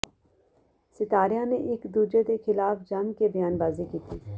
ਸਿਤਾਰਿਆਂ ਨੇ ਇੱਕ ਦੂਜੇ ਦੇ ਖਿਲਾਫ ਜੰਮ ਕੇ ਬਿਆਨਬਾਜ਼ੀ ਵੀ ਕੀਤੀ